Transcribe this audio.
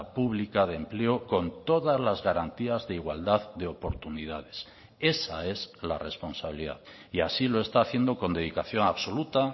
pública de empleo con todas las garantías de igualdad de oportunidades esa es la responsabilidad y así lo está haciendo con dedicación absoluta